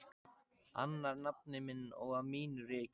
Annar nafni minn og á mínu reki.